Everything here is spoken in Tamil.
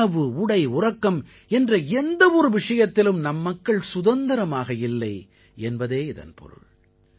உணவு உடை உறக்கம் என்ற எந்த ஒரு விஷயத்திலும் நம் மக்கள் சுதந்திரமாக இல்லை என்பதே இதன் பொருள்